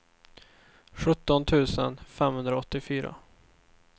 sjutton tusen femhundraåttiofyra